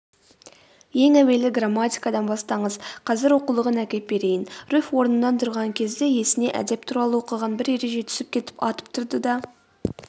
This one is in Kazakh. ең әуелі грамматикадан бастаңыз қазір оқулығын әкеп берейін.руфь орнынан тұрған кезде есіне әдеп туралы оқыған бір ереже түсе кетіп атып тұрды да